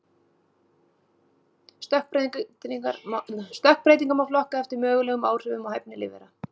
Stökkbreytingar má flokka eftir mögulegum áhrifum á hæfni lífvera.